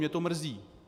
Mě to mrzí.